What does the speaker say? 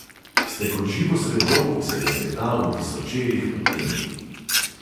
Ste kot živo srebro, ki se lesketa v tisočerih odtenkih ...